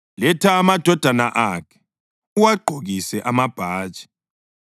Letha amadodana akhe uwagqokise amabhatshi